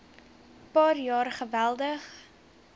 paar jaar geweldig